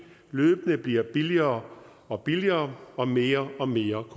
løbende bliver billigere og billigere og mere og mere